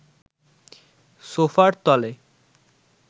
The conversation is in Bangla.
সোফার তলে